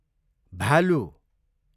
भालु